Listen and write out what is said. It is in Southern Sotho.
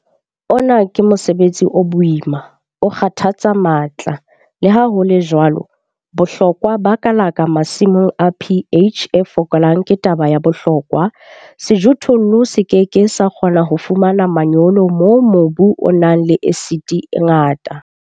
Ona ke mosebetsi o boima, o kgathatsang matla le ha ho le jwalo, bohlokwa ba kalaka masimong a pH e fokolang ke taba ya bohlokwa - sejothollo se ke ke sa kgona ho fumana manyolo moo mobu o nang le esiti e ngata.